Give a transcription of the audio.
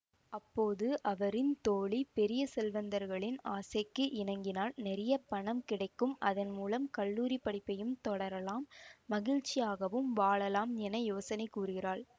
அப்போது அவரின் தோழி பெரிய செல்வந்தர்களின் ஆசைக்கு இணங்கினால் நிறைய பணம் கிடைக்கும் அதன்மூலம் கல்லூரி படிப்பையும் தொடரலாம் மகிழ்ச்சியாகவும் வாழலாம் என யோசனை கூறுகிறாள்